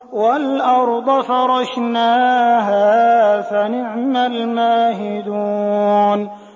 وَالْأَرْضَ فَرَشْنَاهَا فَنِعْمَ الْمَاهِدُونَ